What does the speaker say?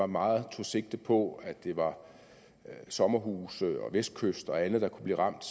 meget tog sigte på at det var sommerhuse vestkysten og andet der kunne blive ramt